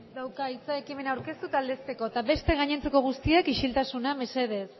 dauka hitza ekimena aurkeztu eta aldezteko eta beste gainontzeko guztiek isiltasuna mesedez